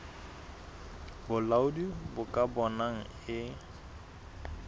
bolaodi bo ka bonang e